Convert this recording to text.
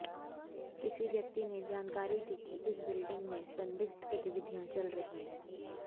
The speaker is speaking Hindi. किसी व्यक्ति ने जानकारी दी कि इस बिल्डिंग में संदिग्ध गतिविधियां चल रही हैं